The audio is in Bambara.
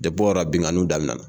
o yɔrɔ la binnkanniw daminɛna